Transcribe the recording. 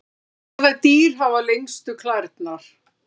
hvaða dýr hafa lengstu klærnar